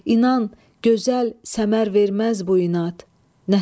İnan, gözəl səmər verməz bu inad.